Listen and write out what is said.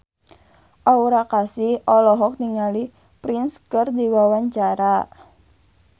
Aura Kasih olohok ningali Prince keur diwawancara